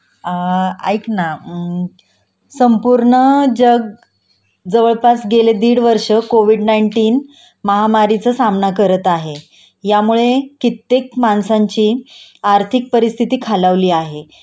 अ ऐक ना अं संपूर्ण जग जवळपास गेले दिड वर्ष कोविड नाईंटीन महामारीचा सामना करत आहे यामुळे कित्येक माणसांची आर्थिक परिस्थिती खालावली आहे